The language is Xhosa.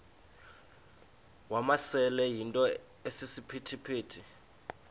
wamasele yinto esisiphithi